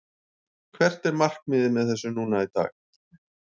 Hvert er markmiðið með þessu núna í dag?